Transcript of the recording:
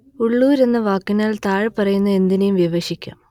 ഉള്ളൂർ എന്ന വാക്കിനാൽ താഴെപ്പറയുന്ന എന്തിനേയും വിവക്ഷിക്കാം